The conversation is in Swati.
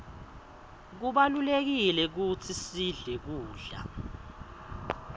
kubalulekile kutsi sidle kudla